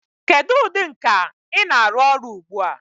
Kedu ụdị nka ị na-arụ ọrụ ugbu a?